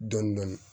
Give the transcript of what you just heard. Dɔndɔni